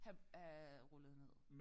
Have øh rullet ned